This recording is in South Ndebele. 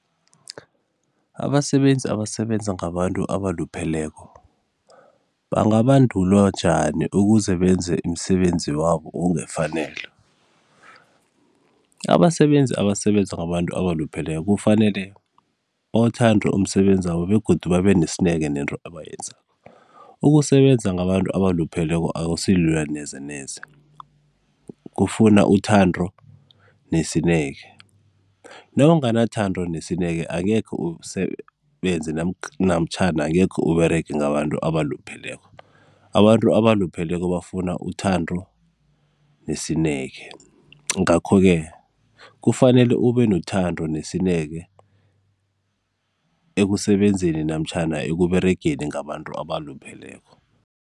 Abasebenzi abasebenza ngabantu abalupheleko, bangabandulwa njani ukuze benze imisebenzi wabo okungefanelo? Abasebenzi abasebenza ngabantu abalupheleko kufanele bawuthande umsebenzi wabo begodu babe nesineke nento abayenzako. Ukusebenza ngabantu abalupheleko akusilula neze neze, kufuna uthando nesineke. Nawunganathando nesineke angekhe usebenze namtjhana angekhe Uberege ngabantu abalupheleko. Abantu abalupheleko bafuna uthando nesineke. Ngakho-ke kufanele ube nothando nesineke ekusebenzeni namtjhana ekUberegeni ngabantu abalupheleko.